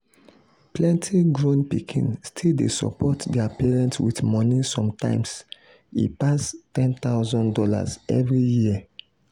plenty grown pikin still dey support their parents with money sometimes e pass one thousand dollars0 every year.